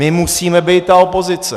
My musíme být ta opozice.